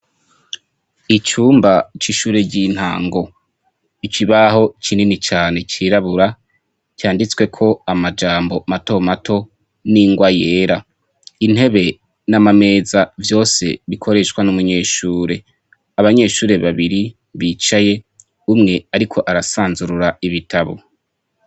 Icumba c'ishure ry'intango; Ikibaho kinini cane cirabura canditsweko amajambo mato mato n'ingwa yera. Intebe n'amameza vyose bikoreshwa n'umunyeshure. Abanyeshure babiri bicaye, umwe ariko arasanzurura ibitabo.